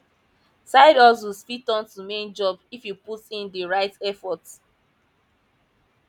sidehustles fit turn to main job if you put in di right effort